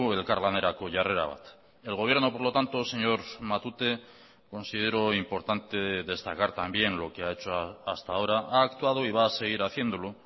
elkarlanerako jarrera bat el gobierno por lo tanto señor matute considero importante destacar también lo que ha hecho hasta ahora ha actuado y va a seguir haciéndolo